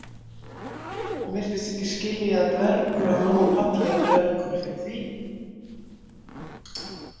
Hann virtist ekki skilja að dvergur á háum palli er dvergur fyrir því.